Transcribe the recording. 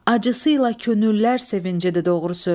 Acısıyla könüllər sevincidir doğru söz.